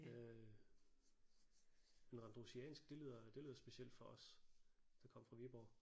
Øh men randrusiansk det lyder det lyder specielt for os der kommer fra Viborg